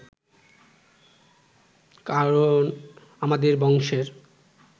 কারণ আমাদের বংশের